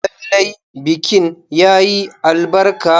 Lallai bikin yayi albarka.